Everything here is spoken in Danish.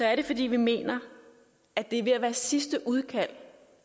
er det fordi vi mener at det er ved at være sidste udkald